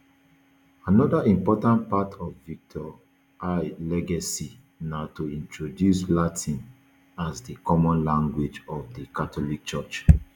anoda important part of victor i legacy na to introduce latin as di common language of di catholic church